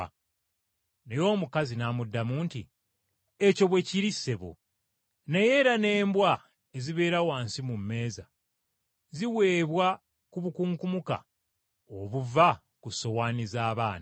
Naye omukazi n’amuddamu nti, “Ekyo bwe kiri, ssebo, naye era n’embwa ezibeera wansi mu mmeeza, ziweebwa ku bukunkumuka obuva ku ssowaani z’abaana.”